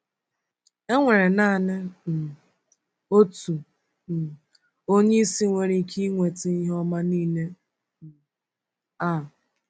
E nwere naanị um otu um Onyeisi nwere ike iweta ihe ọma niile um a.